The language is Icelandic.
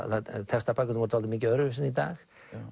Textabækurnar voru dálítið mikið öðruvísi en í dag